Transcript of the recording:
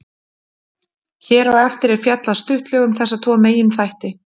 Hér á eftir er fjallað stuttlega um þessa tvo meginþætti.